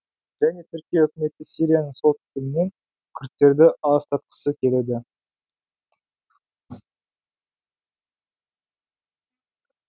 және түркия үкіметі сирияның солтүстігінен күрдтерді аластатқысы келеді